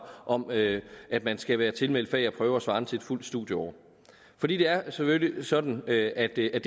om at at man skal være tilmeldt fag og prøver svarende til et fuldt studieår for det er selvfølgelig sådan at at det er